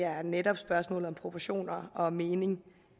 er netop spørgsmålet om proportioner og mening